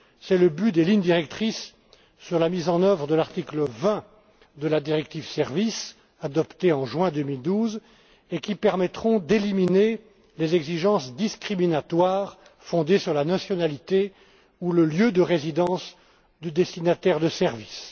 C'est le but des lignes directrices sur la mise en œuvre de l'article 20 de la directive Services adoptée en juin 2012 et qui permettront d'éliminer les exigences discriminatoires fondées sur la nationalité ou le lieu de résidence du destinataire de services.